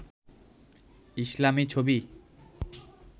ইসলামি ছবি